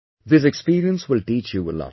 This experience will teach you a lot